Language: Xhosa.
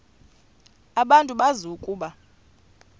abantu bazi ukuba